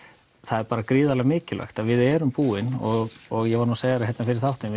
er bara gríðarlega mikilvægt að við erum búin og og ég var nú að segja þér þetta fyrir þáttinn